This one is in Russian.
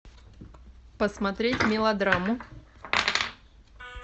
посмотреть мелодраму